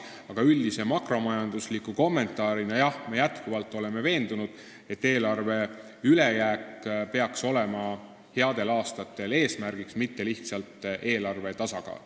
Aga üldise makromajandusliku kommentaarina ütlen, et jah, me oleme jätkuvalt veendunud, et headel aastatel peaks olema eesmärgiks eelarve ülejääk, mitte lihtsalt eelarve tasakaal.